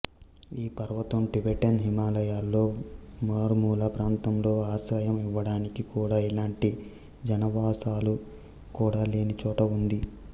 ఈ పర్వతం టిబెటన్ హిమాలయాలలో మారుమూల ప్రాంతంలో ఆశ్రయం ఇవ్వడానికి కూడా ఎలాంటి జనావాసాలు కూడా లేని చోట ఉంది